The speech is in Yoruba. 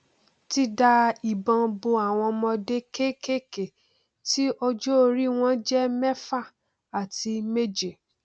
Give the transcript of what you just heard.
ti da ìbọn bo àwọn ọmọdé kékèké tí ọjọorí wọn jẹ mẹfà àti méje